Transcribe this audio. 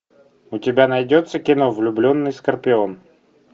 у тебя найдется кино влюбленный скорпион